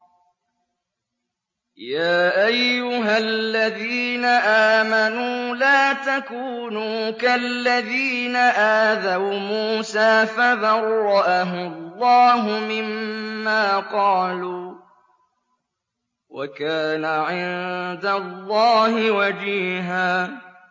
يَا أَيُّهَا الَّذِينَ آمَنُوا لَا تَكُونُوا كَالَّذِينَ آذَوْا مُوسَىٰ فَبَرَّأَهُ اللَّهُ مِمَّا قَالُوا ۚ وَكَانَ عِندَ اللَّهِ وَجِيهًا